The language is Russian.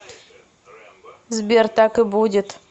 сбер так и будет